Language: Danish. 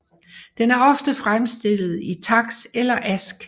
Den er ofte fremstillet i taks eller ask